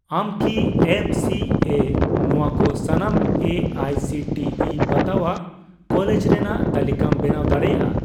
ᱟᱢ ᱠᱤ M C A ᱱᱚᱣᱟ ᱠᱚ ᱥᱟᱱᱟᱢ A I C T E ᱵᱟᱛᱟᱣᱟᱜ ᱠᱚᱞᱮᱡᱽ ᱨᱮᱱᱟᱜ ᱛᱟᱞᱤᱠᱟᱢ ᱵᱮᱱᱟᱣ ᱫᱟᱲᱮᱭᱟᱜᱼᱟ ᱾